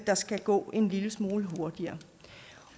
der skal gå en lille smule hurtigere